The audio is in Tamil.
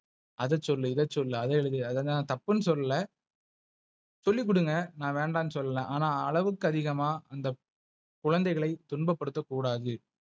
அத சொல்லு இத சொல்லு அத எழுது அதெல்ல நான் தப்புனு சொல்லல. சொல்லி குடுங்க நா வேண்டான்னு சொல்லல ஆனா அளவுக்கு அதிகமா அந்த குழந்தைகளை துன்ப ப்படுத்த கூடாது.